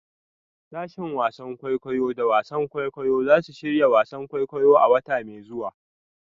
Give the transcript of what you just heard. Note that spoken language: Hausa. Sashen wasan kwaikwayo da wasan kwaikwayo za su shirya wasan kwaikwayo a wata mai zuwa.